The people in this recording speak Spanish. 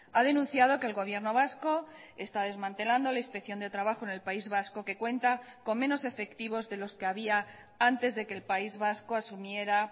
ha denunciado que el gobierno vasco está desmantelando la inspección de trabajo en el país vasco que cuenta con menos efectivos de los que había antes de que el país vasco asumiera